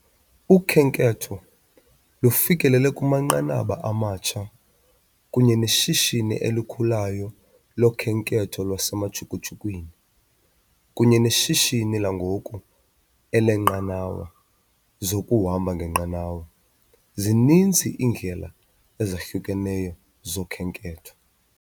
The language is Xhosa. Ukhenketho lufikelele kumanqanaba amatsha kunye neshishini elikhulayo lokhenketho lwasemajukujukwini kunye neshishini langoku elineenqanawa zokuhamba ngenqanawa, zininzi iindlela ezahlukeneyo zokhenketho.